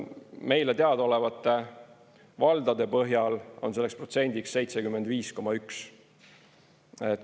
Meile teadaolevate valdade põhjal on selleks protsendiks 75,1.